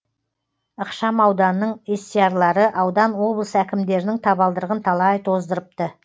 ықшам ауданның естиярлары аудан облыс әкімдерінің табалдырығын талай тоздырыпты